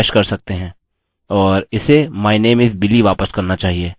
और इसे my name is billy वापस करना चाहिए